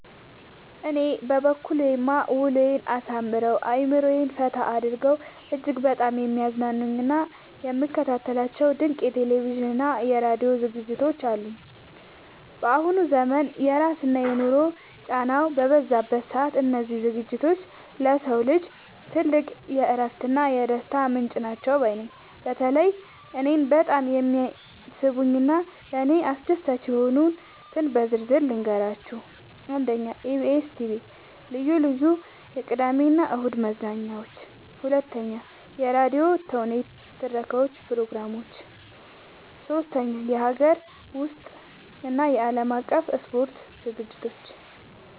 በእኔ በኩልማ ውሎዬን አሳምረው፣ አእምሮዬን ፈታ አድርገው እጅግ በጣም የሚያዝናኑኝና የምከታተላቸው ድንቅ የቴሌቪዥንና የራዲዮ ዝግጅቶች አሉኝ! ባሁኑ ዘመን የስራና የኑሮ ጫናው በበዛበት ሰዓት፣ እነዚህ ዝግጅቶች ለሰው ልጅ ትልቅ የእረፍትና የደስታ ምንጭ ናቸው ባይ ነኝ። በተለይ እኔን በጣም የሚስቡኝንና ለእኔ አስደሳች የሆኑትን በዝርዝር ልንገራችሁ፦ 1. የኢቢኤስ (EBS TV) ልዩ ልዩ የቅዳሜና እሁድ መዝናኛዎች 2. የራዲዮ ተውኔቶችና የትረካ ፕሮግራሞች 3. የሀገር ውስጥና የዓለም አቀፍ የስፖርት ዝግጅቶች